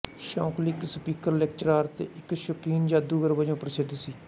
Shockley ਇੱਕ speaker lecturer ਅਤੇ ਇੱਕ ਸ਼ੁਕੀਨ ਜਾਦੂਗਰ ਵਜੋਂ ਪ੍ਰਸਿੱਧ ਸੀ